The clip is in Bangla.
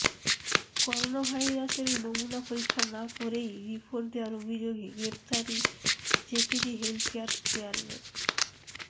করোনাভাইরাসের নমুনা পরীক্ষা না করেই রিপোর্ট দেয়ার অভিযোগে গ্রেফতার জেকেজি হেলথকেয়ারের চেয়ারম্যান